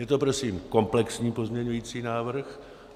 Je to prosím komplexní pozměňovací návrh.